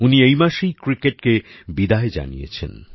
উনি এই মাসেই ক্রিকেটকে বিদায় জানিয়েছেন